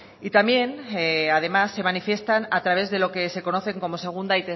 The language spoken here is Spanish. y también además se manifiestan a través de lo que se conocen como segunda